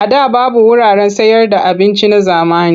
A da babu wuraren sayarda abinci na zamani.